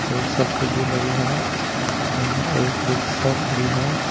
और शटर भी लगे हैं यहां एक रिक्शा खड़ी है।